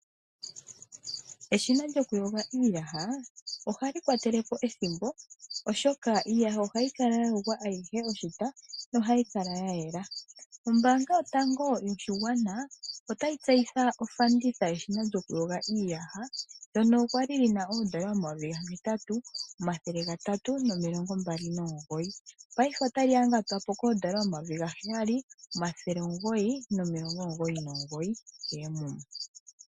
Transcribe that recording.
Eshina lyokuyoga iiyaha, ohali kwatele po ethimbo, oshoka iiyaha ohayi kala ya yogwa ayihe oshita, nohayi kala ya yela. Ombaanga yotango yoshigwana, otayi tseyitha ofanditha yeshina lyokuyoga iiyaha, ndono kwa li li na oodola omayovi gahetatu, omathele gatatu nomilongo mbali nomugoyi. Paife otali yangatwa po koodola omayovi gaheyali, omathele omugoyi nomilongo omugoyi nomugoyi keemuma.